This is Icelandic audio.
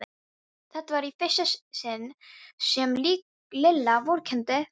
Þetta var í fyrsta sinn sem Lilla vorkenndi Fúsa.